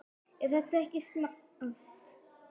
Er þetta ekki smart?